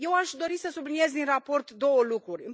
Eu aș dori să subliniez din raport două lucruri.